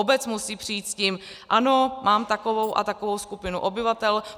Obec musí přijít s tím: Ano, mám takovou a takovou skupinu obyvatel.